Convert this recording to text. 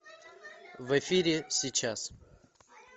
в эфире сейчас